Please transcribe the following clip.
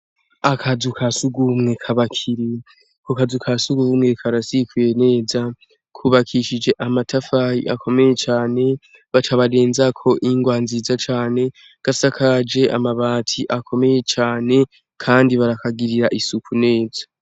Akazu ka sugumwe k'abakinyi. Ako kazu ka sugumwe karasifuye neza. Kubakishije amatafari akomeye cane, baca barenzako ingwa nziza cane, gasakajwe amabati akomeye cane, kandi barakagirira isuku neza.